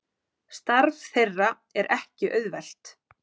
Starf þeirra er ekki auðvelt